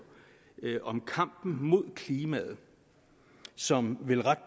om kampen mod klimaet som vel ret